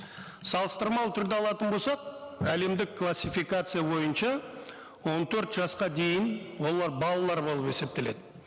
салыстырмалы түрде алатын болсақ әлемдік классификация бойынша он төрт жасқа дейін олар балалар болып есептеледі